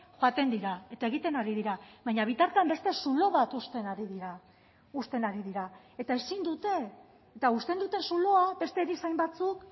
joaten dira eta egiten ari dira baina bitartean beste zulo bat uzten ari dira uzten ari dira eta ezin dute eta uzten dute zuloa beste erizain batzuk